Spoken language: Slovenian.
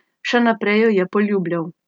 Še naprej jo je poljubljal.